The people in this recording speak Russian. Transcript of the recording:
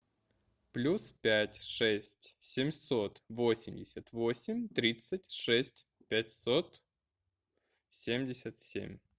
плюс пять шесть семьсот восемьдесят восемь тридцать шесть пятьсот семьдесят семь